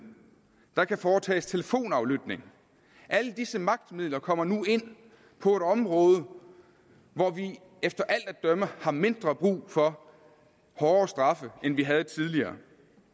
der kan foretages telefonaflytning alle disse magtmidler kommer nu ind på et område hvor vi efter alt at dømme har mindre brug for hårde straffe end vi havde tidligere